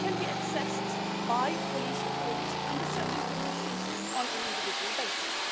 It can be accessed by police authorities under certain conditions on an individual basis.